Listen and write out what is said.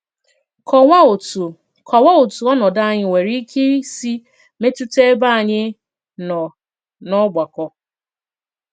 Kọ̀wàà òtù Kọ̀wàà òtù ònòdù ànyị̀ nwere ìkè ìsì mètùtà èbé ànyị̀ nọ n'ọ̀gbàkọ.